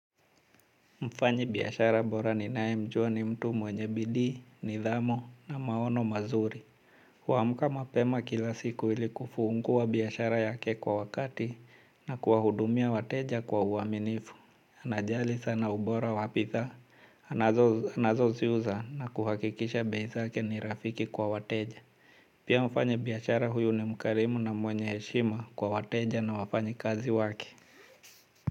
Mfanyabiashara bora ninayemjua ni mtu mwenye bidii nidhamu na maono mazuri. Huamka mapema kila siku ili kufungua biashara yake kwa wakati na kuwahudumia wateja kwa uaminifu anajali sana ubora wa bidhaa. Anazo ziuza na kuhakikisha bei zake ni rafiki kwa wateja. Pia mfanyabiashara huyu ni mkarimu na mwenye heshima kwa wateja na wafanyakazi waki.